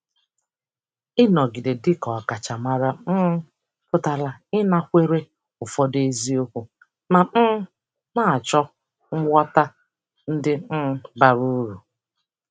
Ịnọgide dị ka ọkachamara um pụtara ịnakwere ụfọdụ eziokwu ma um na-achọ ngwọta ndị um bara uru.